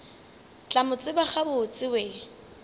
tla mo tseba gabotse we